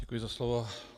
Děkuji za slovo.